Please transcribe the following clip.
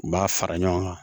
U b'a fara ɲɔgɔn kan